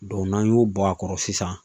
n'an y'o bɔ a kɔrɔ sisan